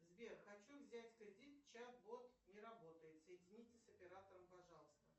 сбер хочу взять кредит чат бот не работает соедините с оператором пожалуйста